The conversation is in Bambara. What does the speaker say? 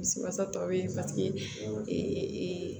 Bisi wasa tɔ be ye paseke